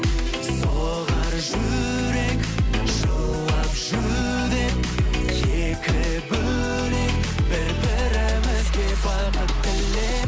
соғар жүрек жылап жүдеп екі бөлек бір бірімізге бақыт тілеп